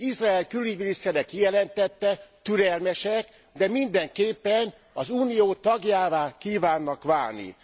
Izrael külügyminisztere kijelentette türelmesek, de mindenképpen az Unió tagjává kívánnak válni.